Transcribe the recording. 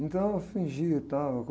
Então eu fingia e tal, eu go